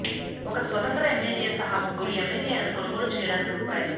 ఒక స్వతంత్ర ఎమ్మెల్యే సహా ముగ్గురు ఎమ్మెల్యేలను కొనుగోలు చేయడానికి రూ